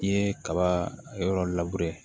I ye kaba yɔrɔ